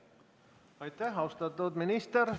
Aitäh, austatud minister!